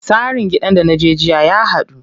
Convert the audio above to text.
Tsarin gidan da naje jiya ya haɗu.